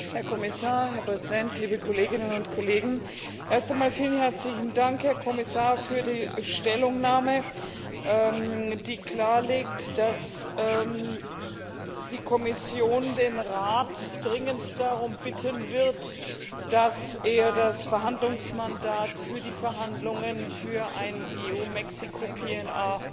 Herr Präsident, Herr Kommissar, liebe Kolleginnen und Kollegen! Erst einmal vielen herzlichen Dank, Herr Kommissar, für die Stellungnahme, die klarstellt, dass die Kommission den Rat dringend darum bitten wird, dass er das Verhandlungsmandat für die Verhandlungen für ein EU Mexiko PNR